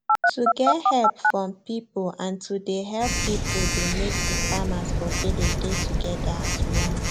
to get help from people and to dey help people dey make the farmers for village dey together as one